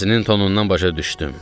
Səsinin tonundan başa düşdüm.